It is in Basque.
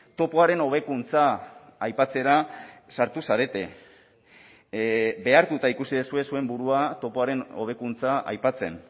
topoaren hobekuntza aipatzera sartu zarete behartuta ikusi duzue zuen burua topoaren hobekuntza aipatzen